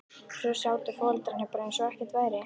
Svo sátu foreldrarnir bara eins og ekkert væri.